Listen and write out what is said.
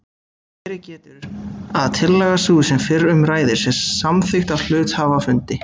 Verið getur að tillaga sú sem fyrr um ræðir sé samþykkt á hluthafafundi.